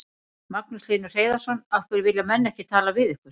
Magnús Hlynur Hreiðarsson: Af hverju vilja menn ekki tala við ykkur?